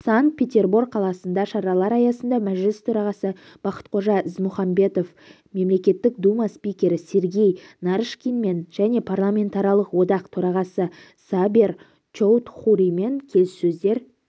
санкт-петербор қаласында шаралары аясында мәжіліс төрағасы бақтықожа ізмұхамбетов мемлекеттік дума спикері сергей нарышкинмен және парламентаралық одақ төрағасы сабер чоудхуримен келіссөздер